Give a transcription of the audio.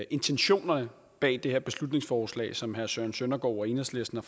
intentionerne bag det her beslutningsforslag som herre søren søndergaard og enhedslisten